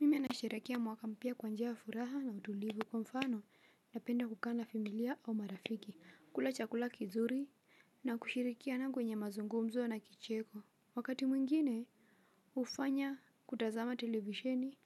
Mimi nasherehekea mwaka mpya kwa njia ya furaha na utulivu kwa mfano napenda kukaa na familia au marafiki kula chakula kizuri na kushirikiana kwenye mazungumzo na kicheko. Wakati mwingine hufanya kutazama televisheni